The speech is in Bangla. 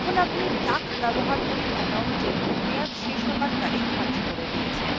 এখন আপনি duck ব্যবহারকারীর account মেয়াদ শেষ হওয়ার তারিখ ধার্য করে দিয়েছেন